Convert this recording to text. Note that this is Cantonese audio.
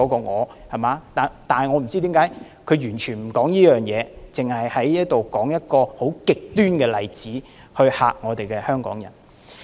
我不知道他為甚麼完全不提這一點，只在這裏說一個很極端的例子來嚇怕香港人。